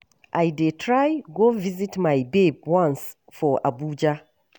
I dey try go visit my babe once for Abuja.